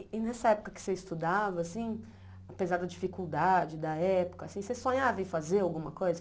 E nessa época que você estudava, assim, apesar da dificuldade da época, assim, você sonhava em fazer alguma coisa?